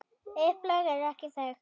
Upplag er ekki þekkt.